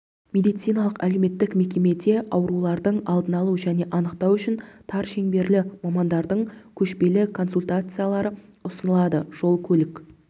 медициналық-әлеуметтік мекемеде аурулардың алдын алу және анықтау үшін тар шеңберлі мамандардың көшпелі консультациялары ұсынылады жол-көлік